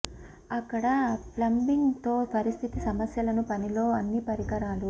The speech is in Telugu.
అక్కడ ప్లంబింగ్ తో పరిస్థితి సమస్యలను పని లో అన్ని పరికరాలు